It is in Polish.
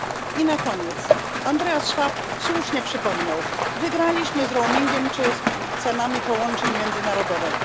I na koniec, Andreas Schwab słusznie przypomniał wygraliśmy z roamingiem czy z cenami połączeń międzynarodowych.